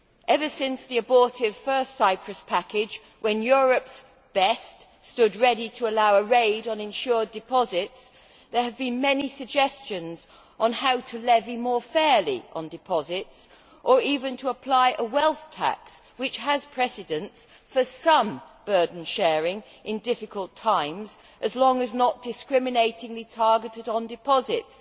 Even since the abortive first Cyprus package, when Europe's best' stood ready to allow a raid on insured deposits, there have been many suggestions on how to levy more fairly on deposits, or even to apply a wealth tax, which has precedents for some burden sharing in difficult times as long as it is not discriminatingly targeted at deposits.